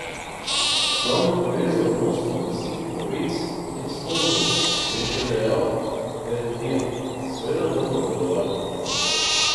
V glavnem pa gre za odnos med lastniki pravic in sponzorji," je še dejal Perendija: "Seveda bomo nadaljevali.